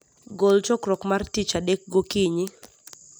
gol chokruok mar tich adek gokinyi